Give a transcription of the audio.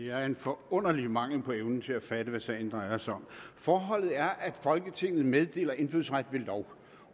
er en forunderlig mangel på evne til at fatte hvad sagen drejer sig om forholdet er at folketinget meddeler indfødsret ved lov